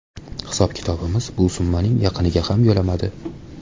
Hisob-kitobimiz bu summaning yaqiniga ham yo‘lamadi.